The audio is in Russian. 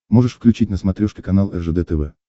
можешь включить на смотрешке канал ржд тв